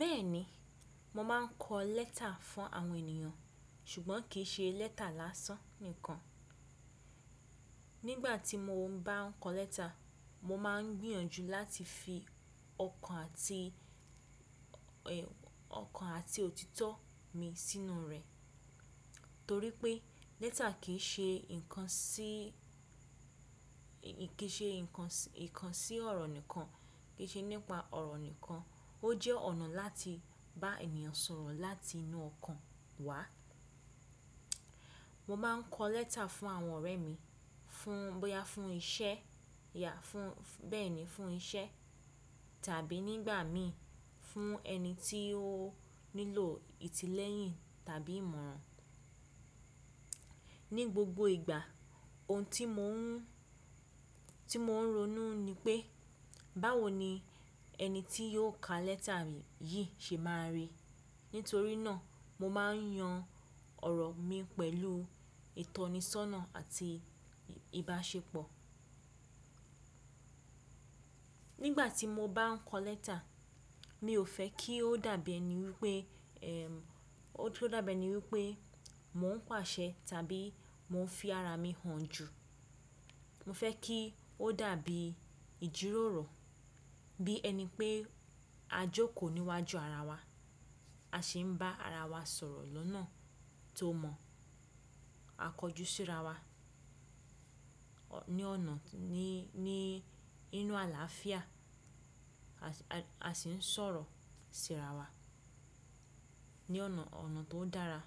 Bẹ́ẹ̀ni, mo máa ń kọ lẹ́ta fún àwọn ènìyàn ṣùgbọ́n kì í ṣe lẹ́ta lásán nìkan. Nígbà tí mo ń bá kọ lẹ́ta, mo máa ń gbìyànjú láti fi ọkàn àti, ọkàn àti òtítọ́ mi sínú rẹ̀ torí pé lẹ́ta kì í ṣe nǹkan sí, kì í ṣe nǹkan, nǹkan sí ọ̀rọ̀ nìkan, kì í ṣe nípa ọ̀rọ̀ nìkan, ó jẹ́ ọ̀nà láti bá ènìyàn sọ̀rọ̀ láti inú ọkàn wá. Mo máa ń kọ lẹ́ta fún àwọn ọ̀rẹ́ mi, fún, bóyá fún iṣẹ́, yà, fún, bẹ́ẹ̀ni fún iṣẹ́ tàbí nígbà mí fún ẹni tí ó nílò ìtìlẹ́yìn tàbí ìmọ̀ràn. Ni gbogbo ìgbà ohun tí mo ń, tí mo ń ronú ni pé báwo ni ẹni tí yóò ka lẹ́ta yìí ṣe máa rí. Nítorí náà mo máa ń yan ọ̀rọ̀ mi pẹ̀lú ìtọ́nisọ́nà àti ìbáṣepọ̀. Nígbà tí mo bá ń kọ lẹ́ta, mi ò fẹ́ kí ó dàbí ẹni wípé, ẹ́m, ó tó dàbí ẹni wípé mò ń pàṣẹ tàbí mò ń fi ara mi hàn jù. Mo fẹ́ kí ó dàbí ìjíròrò, bí ẹni pé a jókòó níwájú ara wa, a sì ń bá ara wa sọ̀rọ̀ lọ́nà tó mọ, a kọjú sí ara wa ní ọ̀nà, ní, ní inú àlàáfíà, a sì ń sọ̀rọ̀ sí ara wa ní ọ̀nà, ọ̀nà tó dára.